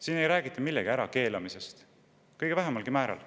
Siin ei räägita millegi ärakeelamisest, mitte vähimalgi määral.